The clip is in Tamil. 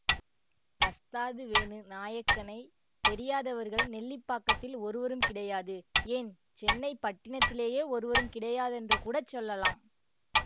வஸ்தாது வேணு நாயக்கனைத் தெரியாதவர்கள் நெல்லிப்பாக்கத்தில் ஒருவரும் கிடையாது ஏன் சென்னை பட்டினத்திலேயே ஒருவரும் கிடையாதென்றுகூடச் சொல்லலாம்